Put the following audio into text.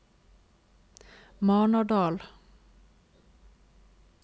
Marnardal